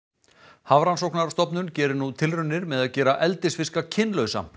Hafrannsóknastofnun gerir nú tilraunir með að gera eldisfiska kynlausa